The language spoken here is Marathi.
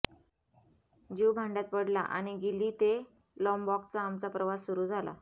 जीव भांड्यात पडला आणि गिली ते लाँबॉकचा आमचा प्रवास सुरू झाला